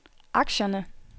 aktierne